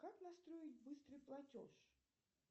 как настроить быстрый платеж